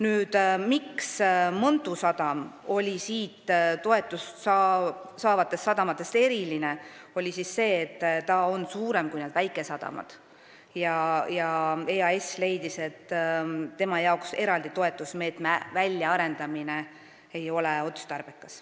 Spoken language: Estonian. Põhjus, miks Mõntu sadam on toetust saavate sadamatega võrreldes eriline, on see, et ta on suurem kui need väikesadamad ja EAS leidis, et tema jaoks eraldi toetusmeetme väljaarendamine ei ole otstarbekas.